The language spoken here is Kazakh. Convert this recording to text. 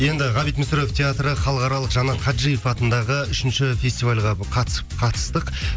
енді ғабит мүсірепов театры халықаралық жанат хаджиев атындағы үшінші фестивальға қатысып қатыстық